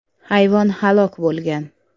Hayvon halok bo‘lgan.